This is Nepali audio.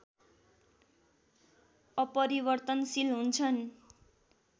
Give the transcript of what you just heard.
अपरिवर्तनशील हुन्छन्।